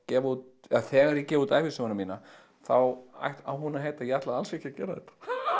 gefa út eða þegar ég gef út ævisöguna mína þá á hún að heita ég ætlaði alls ekki að gera þetta